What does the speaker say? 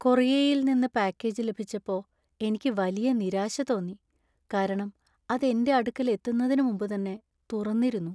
കൊറിയറിൽ നിന്ന് പാക്കേജ് ലഭിച്ചപ്പോ എനിക്ക് വലിയ നിരാശ തോന്നി , കാരണം അത് എന്‍റെ അടുക്കൽ എത്തുന്നതിന് മുമ്പ് തന്നെ തുറന്നിരുന്നു.